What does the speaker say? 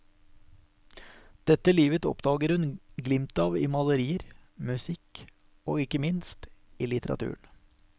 Dette livet oppdager hun glimt av i malerier, musikk, og ikke minst, i litteraturen.